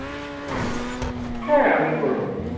হ্যাঁ আমি করে নেব